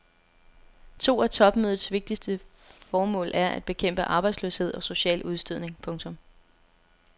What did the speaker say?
To af topmødets vigtige formål er at bekæmpe arbejdsløshed og social udstødning. punktum